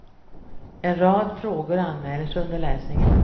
En rad frågor anmäler sig under läsningen.